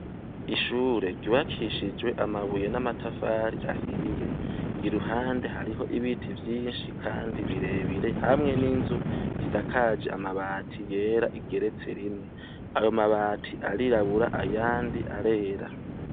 Ishure ryubakishijwe amabuye n'amatafari ahiye, iruhande hariho ibiti vyinshi kandi birebire, hamwe n'inzu isakaje amabati yera igeretse rimwe, ayo mabati arirabura ayandi arera.